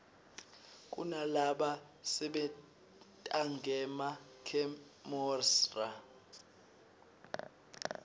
kunalaba sebentangema khemosra